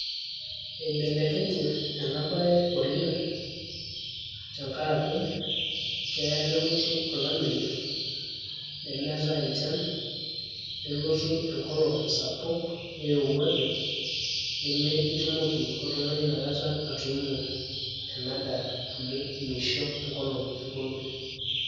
eibelekenye ena bae oleng' tenkaraki keya nelotu olameyu, nemeetae enchan. nelotu enkolong' sapuk, nirowuaju nemitumoki oltungani ina kata atuuno ena daa amu mishoru enkolong euni.